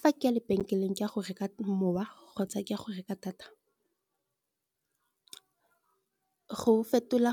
Fa ke ya lebenkeleng ke a go reka mowa kgotsa ke a go reka data, re fetola